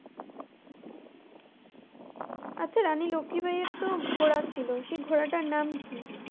আচ্ছা রানী লক্ষি বাইয়ের তো ঘোড়া ছিল, সেই ঘোড়াটার নাম কি?